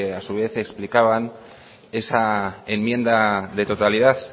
a su vez explicaban esa enmienda de totalidad